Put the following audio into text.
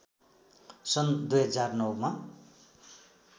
सन् २००९ मा